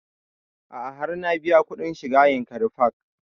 A'a har na biya kuɗin shiga yankari park